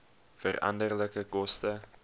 veranderlike koste